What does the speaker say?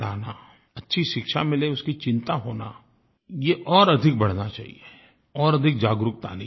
अच्छी शिक्षा मिले उसकी चिंता होना ये और अधिक बढ़ना चाहिये और अधिक जागरूकता आनी चाहिए